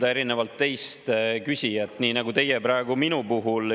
Ei, erinevalt teist ma ei ründa küsijat, nii nagu teie praegu minu puhul.